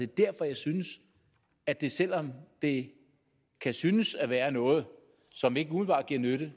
derfor jeg synes at det selv om det kan synes at være noget som ikke umiddelbart giver nytte